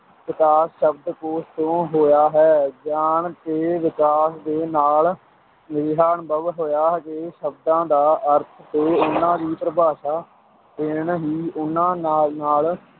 ਵਿਕਾਸ ਸ਼ਬਦਕੋਸ਼ ਤੋਂ ਹੋਇਆ ਹੈ, ਗਿਆਨ ਦੇ ਵਿਕਾਸ ਦੇ ਨਾਲ ਅਜਿਹਾ ਅਨੁਭਵ ਹੋਇਆ ਕਿ ਸ਼ਬਦਾਂ ਦਾ ਅਰਥ ਤੇ ਉਨ੍ਹਾਂ ਦੀ ਪਰਿਭਾਸ਼ਾ ਦੇਣ ਹੀ ਉਹਨਾਂ ਨਾਲ ਨਾਲ